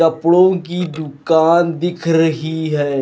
कपड़ों की दुकान दिख रही है।